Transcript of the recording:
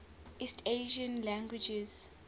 east asian languages